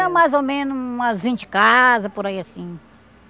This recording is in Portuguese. Mais ou menos umas vinte casas, por aí assim.